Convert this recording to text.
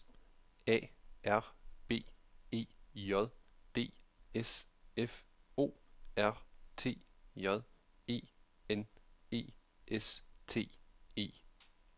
A R B E J D S F O R T J E N E S T E